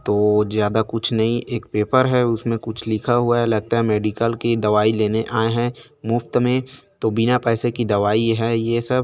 तो ज्यादा कुछ नहीं एक पेपर है उसमे कुछ लिख हुआ है लगता है मेडिकल की दवाई लेने आए है मुफ्त मे तो बिना पैसे की दवाई है ये सब--